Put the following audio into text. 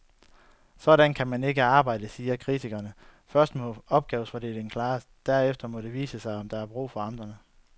Sådan kan man ikke arbejde, siger kritikerne, først må opgavefordelingen klares, derefter må det vise sig, om der er brug for amterne.